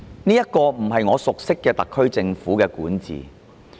這不是我熟悉的特區政府管治。